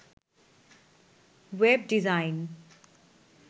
web design